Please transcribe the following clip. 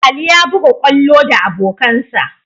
Ali ya buga kwallo da abokansa.